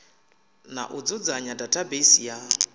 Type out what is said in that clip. na u dzudzanya database ya